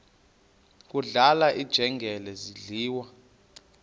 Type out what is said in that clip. kudlala iinjengele zidliwa